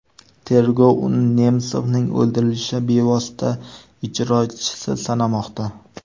Tergov uni Nemsovning o‘ldirilishi bevosita ijrochisi sanamoqda.